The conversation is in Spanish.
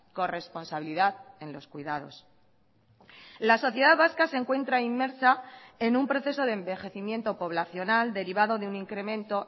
corresponsabilidad en los cuidados la sociedad vasca se encuentra inmersa en un proceso de envejecimiento poblacional derivado de un incremento